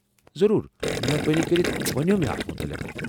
ضروٗر ، مہربٲنی كرِتھ ونِو مے٘ اتھ متعلق ۔